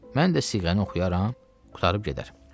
Mən də siğəni oxuyaram, qurtarıb gedər.